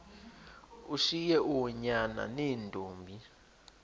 ushiye oonyana neentombi